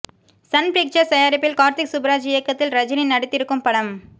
Sun Pictures தயாரிப்பில் கார்த்திக் சுப்புராஜ் இயக்கத்தில் ரஜினி நடித்திருக்கும் படம்